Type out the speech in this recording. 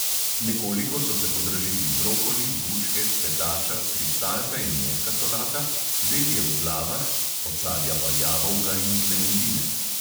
Nekoliko so se podražili brokoli, bučke, cvetača, kristalka in mehka solata, zelje v glavah, od sadja pa jabolka in klementine.